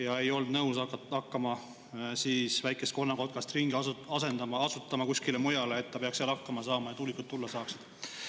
Nad ei olnud nõus hakkama väike-konnakotkast ringi asutama kuskile mujale, et ta peaks seal hakkama saama ja tuulikud tulla saaksid.